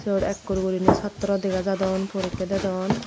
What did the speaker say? iyot ekkur guriney chaatro dega jadon porekkey dedon.